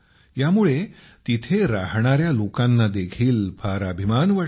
यामुळे तेथे राहणाऱ्या लोकांना देखील फार अभिमान वाटतो